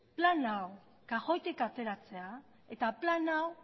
plan hau kajoitik ateratzera eta plan hau